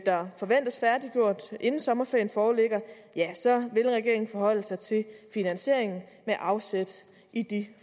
der forventes færdiggjort inden sommerferien foreligger vil regeringen forholde sig til finansieringen med afsæt i de